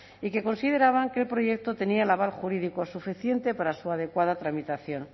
y que consideraban que el proyecto tenía el aval jurídico suficiente para su adecuada tramitación